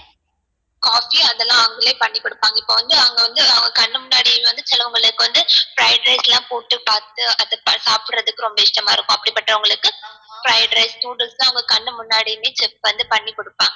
coffee அதலாம் அவங்களே பண்ணி குடுப்பாங்க இப்போ வந்து அங்க வந்து அவங்க கண்ணு முன்னாடியே வந்து fried rice லாம் போட்டு பாத்து அத சாப்டறதுக்கு ரொம்ப இஷ்டமா இருக்கும் அப்டி பட்டவங்களுக்கு fried rice noodles லாம் அவங்க கண்ணு முன்னாடியும் check வந்து பண்ணிகுடுப்பாங்க